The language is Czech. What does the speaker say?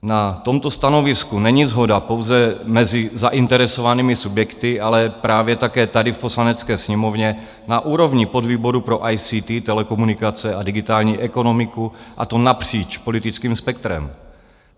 Na tomto stanovisku není shoda pouze mezi zainteresovanými subjekty, ale právě také tady v Poslanecké sněmovně na úrovni podvýboru pro ICT, telekomunikace a digitální ekonomiku, a to napříč politickým spektrem.